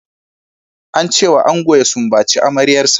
Ance wa ango ya sumbaci amaryar sa.